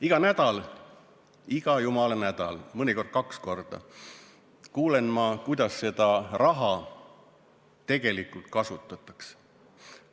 Iga nädal, iga jumala nädal, mõnikord kaks korda nädalas kuulen ma, kuidas seda raha tegelikult kasutatakse.